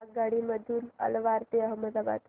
आगगाडी मधून अलवार ते हैदराबाद